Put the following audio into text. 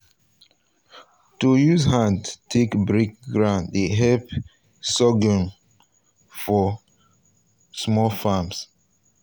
to use hand take break ground dey help sorghum for small farms.